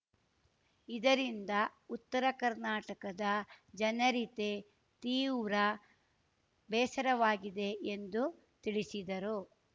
ಇದರಿಂದ ಉತ್ತರ ಕರ್ನಾಟಕದ ಜನರಿತೆ ತೀವ್ರ ಬೇಸರವಾಗಿದೆ ಎಂದು ತಿಳಿಸಿದರು